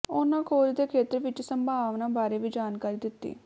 ਉਨ੍ਹਾਂ ਖੋਜ ਦੇ ਖੇਤਰ ਵਿਚ ਸੰਭਾਵਨਾਵਾਂ ਬਾਰੇ ਵੀ ਜਾਣਕਾਰੀ ਦਿੱਤੀ